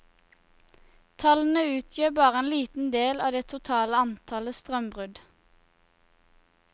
Tallene utgjør bare en liten del av det totale antallet strømbrudd.